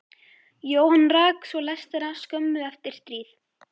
Jóhann rak svo lestina skömmu eftir stríð.